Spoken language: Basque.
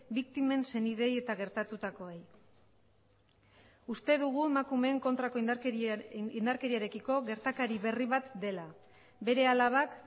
biktimen senideei eta gertatutakoei uste dugu emakumeen kontrako indarkeriarekiko gertakari berri bat dela bere alabak